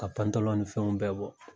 Ka ni fɛnw bɛɛ bɔ.